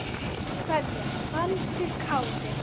kveðja, Baldur Kári.